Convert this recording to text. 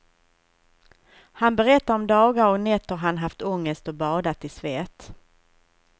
Han berättar om dagar och nätter han haft ångest och badat i svett.